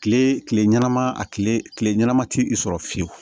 Kile kile ɲɛnama a kile kile ɲɛnama ti i sɔrɔ fiyewu